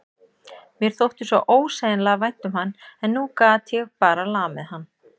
Mér þótti svo ósegjanlega vænt um hann en nú gat ég bara lamið hann.